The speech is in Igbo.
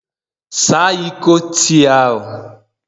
Saa Iko tii ahụ!